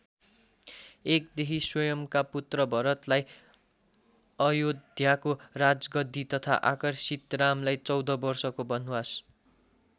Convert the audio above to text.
एकदेखि स्वयम्‌का पुत्र भरतलाई अयोध्याको राजगद्दी तथा अर्कासित रामलाई चौध वर्षको वनवास।